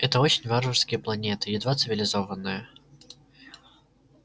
это очень варварские планеты едва цивилизованные